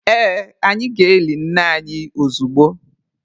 Ee, anyị ga-eli nne anyi ozugbo.